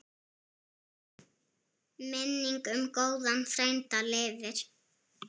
Minning um góðan frænda lifir.